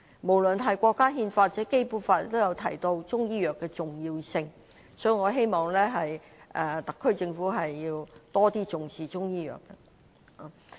無論是國家憲法或《基本法》，均提到中醫藥的重要性，所以，我希望特區政府能更重視中醫藥。